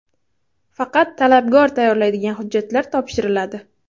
Faqat talabgor tayyorlaydigan hujjatlar topshiriladi.